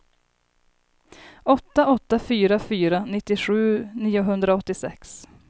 åtta åtta fyra fyra nittiosju niohundraåttiosex